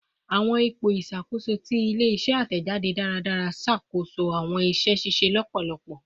Awọn ipo iṣakoso ti ile-iṣẹ atẹjade daradara ṣakoso awọn iṣẹ ṣiṣe lọpọlọpọ